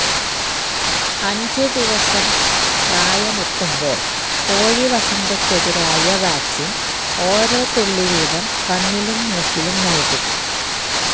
അഞ്ചു ദിവസം പ്രായമെത്തുമ്പോള് കോഴിവസന്തയ്ക്കെതിരായ വാക്സിന് ഓരോ തുള്ളിവീതം കണ്ണിലും മൂക്കിലും നല്കും